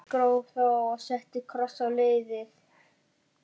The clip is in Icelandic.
Ég gróf þá og setti kross á leiðið.